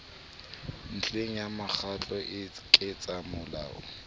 ntlheng ya makgotla a ketsamolao